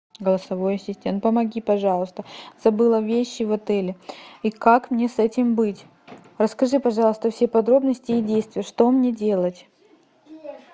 голосовой ассистент помоги пожалуйста забыла вещи в отеле и как мне с этим быть расскажи пожалуйста все подробности и действия что мне делать